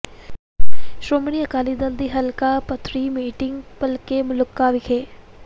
ਸ਼੍ਰੋਮਣੀ ਅਕਾਲੀ ਦਲ ਦੀ ਹਲਕਾ ਪੱਧਰੀ ਮੀਟਿੰਗ ਭਲਕੇ ਮਲੂਕਾ ਵਿਖੇ